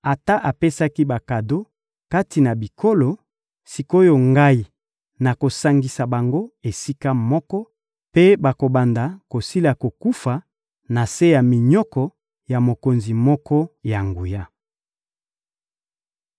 Ata apesaki bakado kati na bikolo, sik’oyo Ngai nakosangisa bango esika moko mpe bakobanda kosila kokufa na se ya minyoko ya mokonzi moko ya nguya.